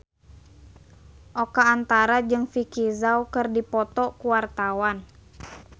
Oka Antara jeung Vicki Zao keur dipoto ku wartawan